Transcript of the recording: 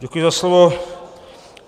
Děkuji za slovo.